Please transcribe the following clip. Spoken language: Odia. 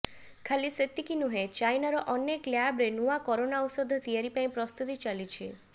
ଖାଲି ସେତିକି ନୁହେଁ ଚାଇନାର ଅନେକ ଲ୍ୟାବରେ ନୂଆ କରୋନା ଓୌଷଧ ତିଆରି ପାଇଁ ପ୍ରସ୍ତୁତି ଚାଲିଛି